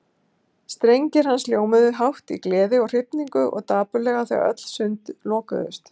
Strengir hans hljómuðu hátt í gleði og hrifningu og dapurlega þegar öll sund lokuðust.